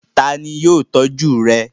Ta ni yóò tọ́jú rẹ̀?